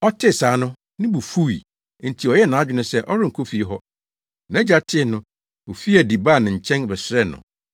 “Ɔtee saa no, ne bo fuwii, enti ɔyɛɛ nʼadwene sɛ ɔrenkɔ fie hɔ. Nʼagya tee no, ofii adi baa ne nkyɛn bɛsrɛɛ no.